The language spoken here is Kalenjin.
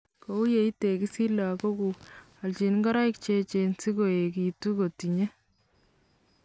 Kou ya itekisi lakokuuk ,alchi ngoroik che echen si koekitu kotinye